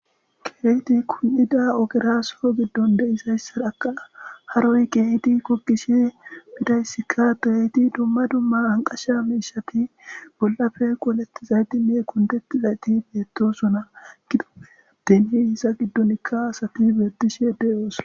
kehidi kun7ida ogera so giddon de'izayssara haroy kehid gogiishe midayssikka beiti dumma dumma anqasha miishati bollafe qolettizayti mee kundetti zayti beettosona gido deni hisa giddonikka safi bertishe deyoosa